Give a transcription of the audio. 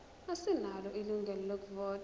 asinalo ilungelo lokuvota